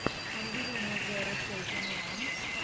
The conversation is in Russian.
ангелина зеро сети уан